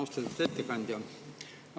Austatud ettekandja!